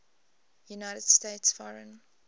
united states foreign